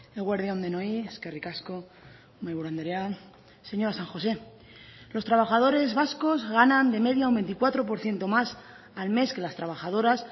eguerdi on denoi eskerrik asko mahaiburu andrea señora san josé los trabajadores vascos ganan de media un veinticuatro por ciento más al mes que las trabajadoras